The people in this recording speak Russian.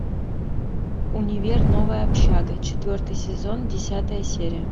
универ новая общага четвертый сезон десятая серия